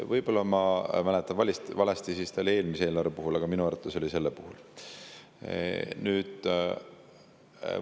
Võib-olla ma mäletan valesti ja see oli nii eelmise eelarve puhul, aga minu arvates oli see selle puhul.